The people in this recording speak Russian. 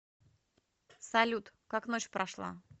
салют как ночь прошла